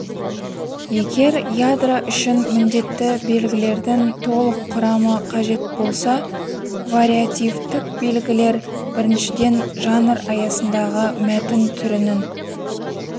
егер ядро үшін міндетті белгілердің толық құрамы қажет болса вариативтік белгілер біріншіден жанр аясындағы мәтін түрінің